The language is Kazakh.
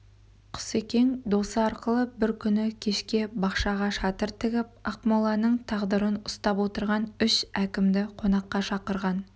құсекең досы арқылы бір күні кешке бақшаға шатыр тігіп ақмоланың тағдырын ұстап отырған үш әкімді қонаққа шақырған